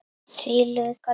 Því lauk aldrei.